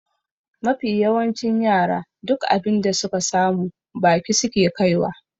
Mafi yawancin yara duk abin da suka samu baki suke kaiwa.